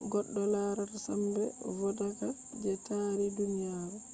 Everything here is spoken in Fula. goddo larata sambe vodaka je taari duniyaru